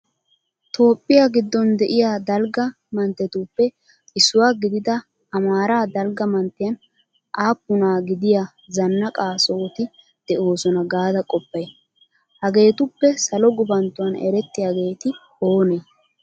Toophphiya giddon de'iya dalgga manttetuppe issuwa gidida amaara dalgga manttiyan aappunaa gidiya zannaqa sohoti de'oosona gaada qoppay? Hageetuppe salo gufanttuwan erettiyageeti oonee?